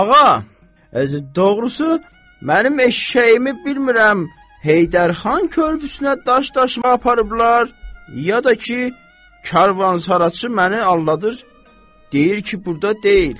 Ağa, doğrusu mənim eşşəyimi bilmirəm, Heydərxan körpüsünə daş daşıma aparıblar, ya da ki, karvansaraçı məni aldadır, deyir ki, burda deyil.